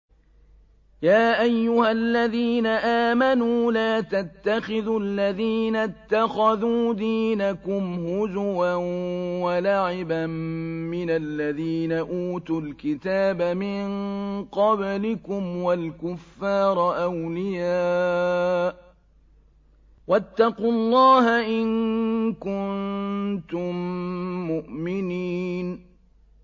يَا أَيُّهَا الَّذِينَ آمَنُوا لَا تَتَّخِذُوا الَّذِينَ اتَّخَذُوا دِينَكُمْ هُزُوًا وَلَعِبًا مِّنَ الَّذِينَ أُوتُوا الْكِتَابَ مِن قَبْلِكُمْ وَالْكُفَّارَ أَوْلِيَاءَ ۚ وَاتَّقُوا اللَّهَ إِن كُنتُم مُّؤْمِنِينَ